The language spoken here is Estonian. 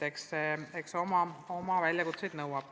Eks see ole suur väljakutse.